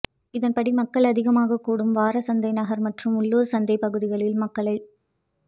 இதன்படி மக்கள் அதிகமாக கூடும் வாரசந்தை நகர் மற்றும் உள்ளூர் சந்தைப்பகுதிகளில் மக்களை